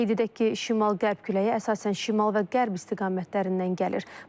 Qeyd edək ki, şimal-qərb küləyi əsasən şimal və qərb istiqamətlərindən gəlir.